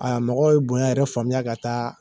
Aa mɔgɔw ye bonya yɛrɛ faamuya ka taa